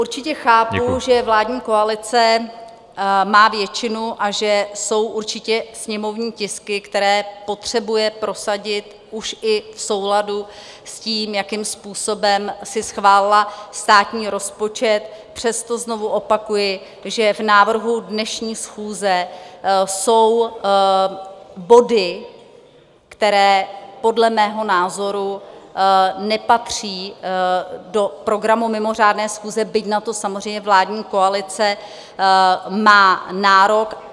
Určitě chápu, že vládní koalice má většinu a že jsou určitě sněmovní tisky, které potřebuje prosadit už i v souladu s tím, jakým způsobem si schválila státní rozpočet, přesto znovu opakuji, že v návrhu dnešní schůze jsou body, které podle mého názoru nepatří do programu mimořádné schůze, byť na to samozřejmě vládní koalice má nárok.